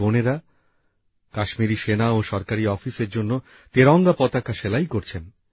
এই বোনেরা কাশ্মীরে সেনা ও সরকারি অফিসএর জন্য তেরঙ্গা পতাকা সেলাই করছেন